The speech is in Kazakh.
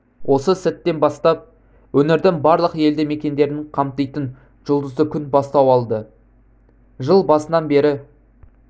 осы сәттен бастап өңірдің барлық елді мекендерін қамтитын жұлдызды күн бастау алды жыл басынан бері